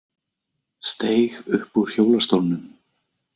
Steig upp úr hjólastólnum